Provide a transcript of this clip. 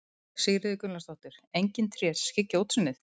Sigríður Gunnlaugsdóttir: Engin tré sem skyggja á útsýnið?